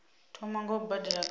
thoma nga u badela kana